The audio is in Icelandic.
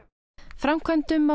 framkvæmdum á